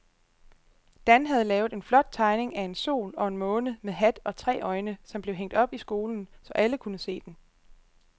Dan havde lavet en flot tegning af en sol og en måne med hat og tre øjne, som blev hængt op i skolen, så alle kunne se den.